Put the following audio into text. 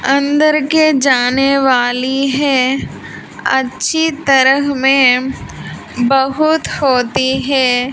अंदर के जाने वाली है अच्छी तरह में बहुत होती है।